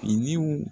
Finiw